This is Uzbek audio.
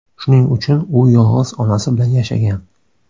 Shuning uchun u yolg‘iz onasi bilan yashagan.